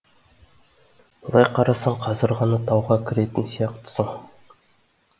былай қарасаң қазір ғана тауға кіретін сияқтысың